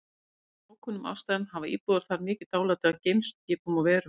Af einhverjum ókunnum ástæðum hafa íbúar þar mikið dálæti á geimskipum og-verum.